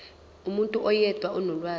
umuntu oyedwa onolwazi